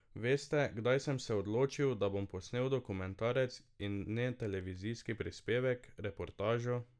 Veste, kdaj sem se odločil, da bom posnel dokumentarec in ne televizijski prispevek, reportažo?